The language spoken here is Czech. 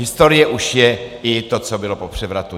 Historie už je i to, co bylo po převratu.